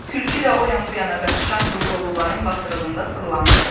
Tülkü də o yan bu yana qaçışan qırqovulların basırığında fırlanırdı.